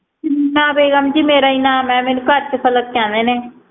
ਸਬੀਨਾ ਬੇਗਮ ਜੀ ਮੇਰਾ ਈ ਨਾਮ ਏ ਮੈਨੂੰ ਘਰ ਚ ਪਲਕ ਕਹਿਦੇ ਨੇ